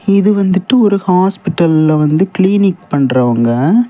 இது வந்துட்டு ஒரு ஹாஸ்பிடல்ல வந்து கிளீனிக் பண்றவங்க.